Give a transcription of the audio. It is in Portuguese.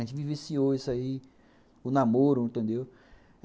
A gente viveciou isso aí, o namoro, entendeu?